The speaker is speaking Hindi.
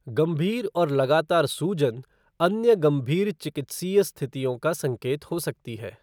गंभीर और लगातार सूजन अन्य गंभीर चिकित्सीय स्थितियों का संकेत हो सकती है।